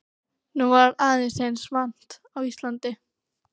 Nú var aðeins eins vant á Íslandi.